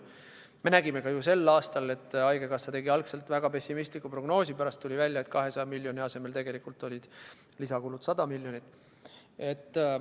Me nägime ju ka sel aastal, et haigekassa tegi algselt väga pessimistliku prognoosi, pärast tuli välja, et 200 miljoni asemel olid lisakulud tegelikult 100 miljonit.